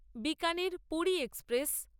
Bikaner Puri express